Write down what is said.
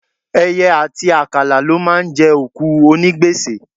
Ẹyẹ àti àkàlà ló máa ń jẹ òkú onígbèsè.